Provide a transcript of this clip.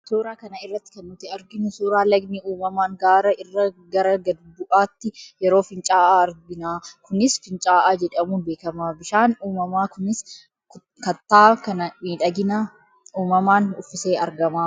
Suuraa kana irratti kan nuti arginu suuraa lagni uumamaan gaara irraa gara gad bu'aatti yeroo fincaa'u argina. Kunis, finca'aa jedhamuun beekama. Bishaan uumamaa kunis kattaa kana miidhagina uumamaan uffisee argama.